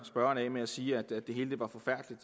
spørgeren af med at sige at det hele var forfærdeligt